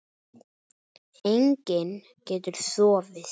Enginn getur sofið.